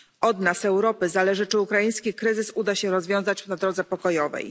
Od nas, Europy, zależy, czy ukraiński kryzys uda się rozwiązać w drodze pokojowej.